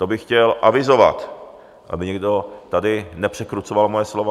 To bych chtěl avizovat, aby tady někdo nepřekrucoval moje slova.